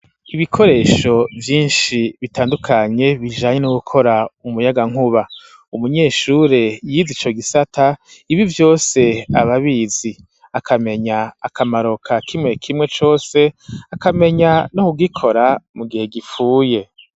Ibikoresho vyinshi bitandukanye bijanye no gukora umuyagankuba umunyeshure yiza ico gisata ibi vyose ababizi akamenya akamaroka kimwe kimwe cose akamenya no kugikora mu gihe gipfuye.